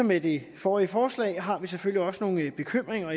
med det forrige forslag har vi selvfølgelig også nogle bekymringer